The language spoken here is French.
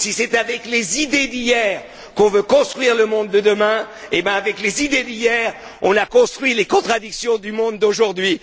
Si c'est avec les idées d'hier que nous voulons construire le monde de demain, je dis qu'avec les idées d'hier on a construit les contradictions du monde d'aujourd'hui.